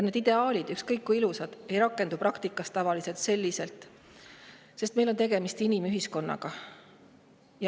Ideaalid, ükskõik kui ilusad, praktikas tavaliselt sellisel kujul ei rakendu, sest meil on tegemist inimühiskonnaga.